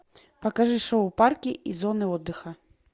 покажи шоу парки и зоны отдыха